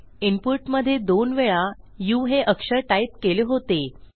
input मधे दोन वेळा उ हे अक्षर टाईप केले होते